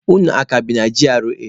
Unu a ka bi na GRA?